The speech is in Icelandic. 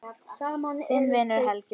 Þinn vinur, Helgi Már.